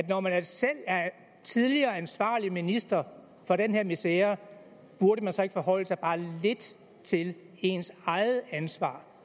når man selv er tidligere ansvarlig minister for den her misere burde man så ikke forholde sig bare lidt til ens eget ansvar